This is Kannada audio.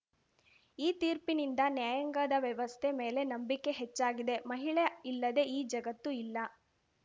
ಈ ತೀರ್ಪಿನಿಂದ ನ್ಯಾಯಾಂಗದ ವ್ಯವಸ್ಥೆ ಮೇಲೆ ನಂಬಿಕೆ ಹೆಚ್ಚಾಗಿದೆ ಮಹಿಳೆ ಇಲ್ಲದೆ ಈ ಜಗತ್ತು ಇಲ್ಲ